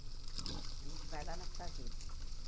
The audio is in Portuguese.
Que a gente vai lá nas fazendas.